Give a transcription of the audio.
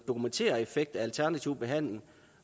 dokumentere effekt af alternativ behandling